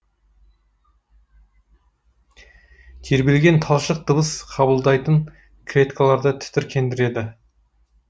тербелген талшық дыбыс қабылдайтын клеткаларды тітіркендіреді